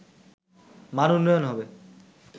মান উন্নয়ন হবে